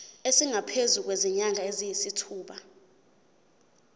esingaphezu kwezinyanga eziyisithupha